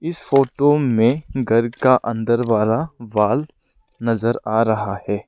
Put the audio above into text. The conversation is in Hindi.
इस फोटो में घर का अंदर वाला वॉल नजर आ रहा है।